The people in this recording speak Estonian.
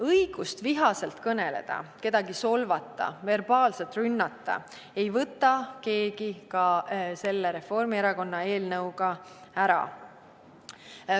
Õigust vihaselt kõneleda, kedagi solvata, verbaalselt rünnata ei võta keegi ka selle Reformierakonna eelnõu kohaselt ära.